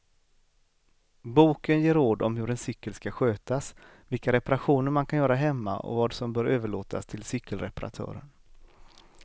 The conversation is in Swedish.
Boken ger råd om hur en cykel ska skötas, vilka reparationer man kan göra hemma och vad som bör överlåtas till cykelreparatören.